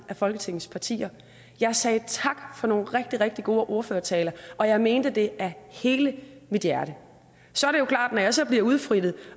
af folketingets partier jeg sagde tak for nogle rigtig rigtig gode ordførertaler og jeg mente det af hele mit hjerte når jeg så bliver udfrittet